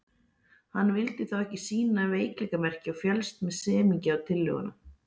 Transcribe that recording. Hann vildi þó ekki sýna veikleikamerki og féllst með semingi á tillöguna.